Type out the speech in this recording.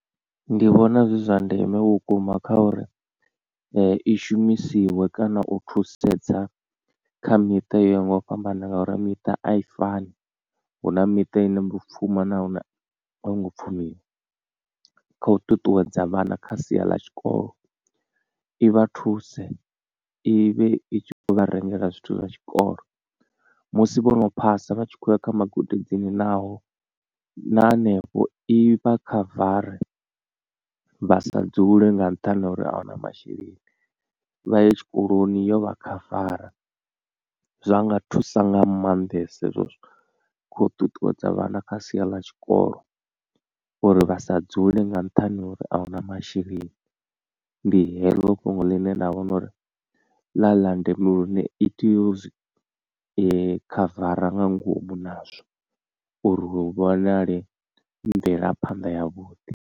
Ndi vhona zwi zwa ndeme vhukuma kha uri i shumisiwe kana u thusedza kha miṱa yo yaho nga u fhambana ngauri miṱa a i fani, huna miṱa ine yo pfumawa na ine a i ngo pfhumiwa kha u ṱuṱuwedza vhana kha sia ḽa tshikolo i vha thuse i vhe i tshi khou vha rengela zwithu zwa tshikolo. Musi vhono phasa vha tshi khou ya kha magudedzini naho na hanefho i vha khavare vha sa dzule nga nṱhani ha uri ahuna masheleni vha ye tshikoloni yo vha khavara. Zwa nga thusa nga maanḓesa hezwo zwithu khou ṱuṱuwedza vhana kha sia ḽa tshikolo uri vha sa dzule nga nṱhani ha uri ahuna masheleni ndi heḽo fhungo ḽine ḽa vho nouri ḽa ḽa ndeme lune i tea u zwi khavara nga ngomu nazwo uri hu vhonale mvelaphanḓa yavhuḓi.